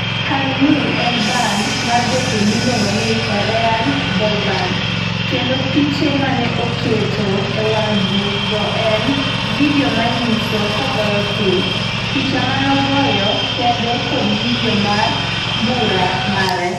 kang ni e band mar jothum miluongo ni 'Korean boyband' kendo piche manoketo e wang buk go en vidio manyiso kogoyo thum, picha manogoyo kende kod vidio mar mbura mare